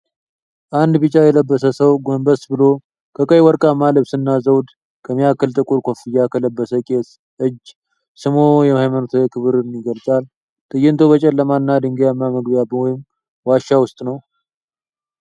አንድ ቢጫ የለበሰ ሰው ጎንበስ ብሎ ከቀይ ወርቃማ ልብስና ዘውድ ከሚያክል ጥቁር ኮፍያ ከለበሰ ቄስ እጅ ስሞ የሃይማኖታዊ ክብርን ይገልጻል። ትዕይንቱ በጨለማና ድንጋያማ መግቢያ ወይም ዋሻ ውስጥ ነው።